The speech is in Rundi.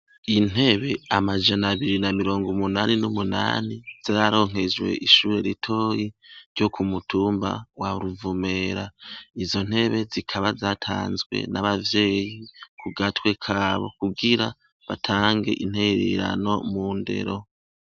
Intebe amajanabiri namirong' umunani n'umunani zararonkejwe ishure ritoya ryo k' umutumba waruvumera, izontebe zikaba zatanzwe n' abavyeyi kugatwe kabo kugira batange intererano mu ndero.